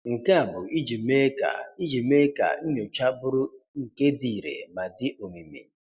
Nke a bụ ijị mee ka ijị mee ka nnyocha bụrụ nke di ìre ma di omimi